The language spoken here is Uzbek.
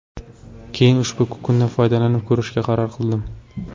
Keyin ushbu kukundan foydalanib ko‘rishga qaror qildim.